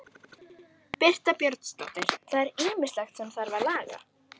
Birta Björnsdóttir: Það er ýmislegt sem þarf að laga?